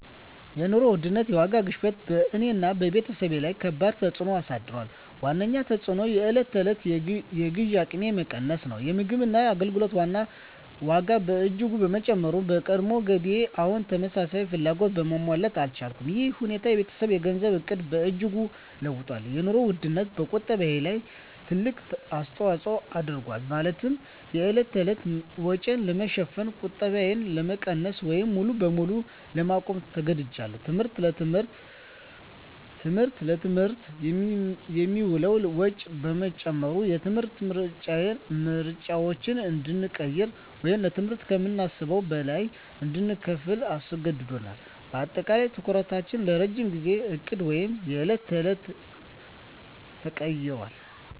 የኑሮ ውድነት (የዋጋ ግሽበት) በእኔና በቤተሰቤ ላይ ከባድ ተፅዕኖ አሳድሯል። ዋነኛው ተፅዕኖ የዕለት ተዕለት የግዢ አቅሜ መቀነስ ነው። የምግብና የአገልግሎት ዋጋ በእጅጉ በመጨመሩ፣ የቀድሞ ገቢዬ አሁን ተመሳሳይ ፍላጎቶችን ማሟላት አልቻለም። ይህ ሁኔታ የቤተሰቤን የገንዘብ ዕቅድ በእጅጉ ለውጦታል - የኑሮ ውድነቱ በቁጠባዬ ላይ ትልቅ አስተዋጽኦ አድርጓል፤ ማለትም የዕለት ተዕለት ወጪን ለመሸፈን ቁጠባዬን ለመቀነስ ወይም ሙሉ በሙሉ ለማቆም ተገድጃለሁ። ትምህርት: ለትምህርት የሚውለው ወጪ በመጨመሩ፣ የትምህርት ምርጫዎችን እንድንቀይር ወይም ለትምህርት ከምናስበው በላይ እንድንከፍል አስገድዶናል። በአጠቃላይ፣ ትኩረታችን ከረጅም ጊዜ ዕቅድ ወደ የዕለት ተዕለት ተቀይሯል።